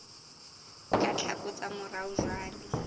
ka tlhako tsa morao jwale